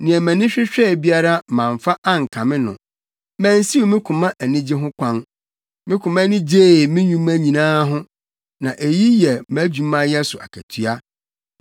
Nea mʼani hwehwɛe biara mamfa ankame no; mansiw me koma anigye ho kwan. Me koma ani gyee me nnwuma nyinaa ho, na eyi yɛ mʼadwumayɛ so akatua.